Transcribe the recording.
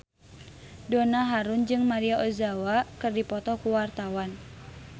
Donna Harun jeung Maria Ozawa keur dipoto ku wartawan